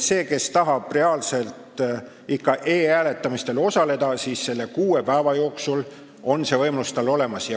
Sellel, kes tahab e-hääletamisel osaleda, on kuue päeva jooksul see võimalus olemas.